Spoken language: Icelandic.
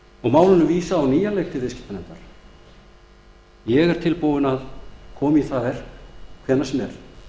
og málinu vísað á nýjan leik til viðskiptanefndar ég er tilbúinn að koma í það verk hvenær sem